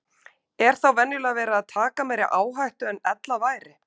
Er þá venjulega verið að taka meiri áhættu en ella væri.